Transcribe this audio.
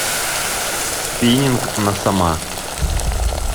спиннинг на сома